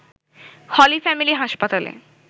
হলি family হাসপাতালে